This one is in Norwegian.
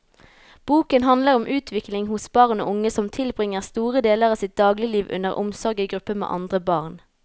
Boken handler om utvikling hos barn og unge som tilbringer store deler av sitt dagligliv under omsorg i gruppe med andre barn.